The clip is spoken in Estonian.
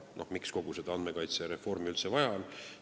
Miks kogu seda andmekaitsereformi üldse vaja on?